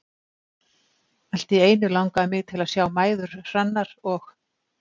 Allt í einu langaði mig til að sjá mæður Hrannar og